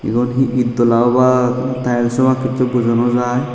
egun he itdola obak na tiles obak hichu bujo no jai.